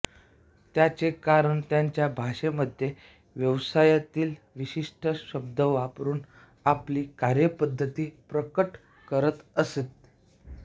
त्याचे कारण त्यांच्या भाषेमध्ये व्यवसायातील विशिष्ट शब्द वापरून आपली कार्यपद्धती प्रकट करत असते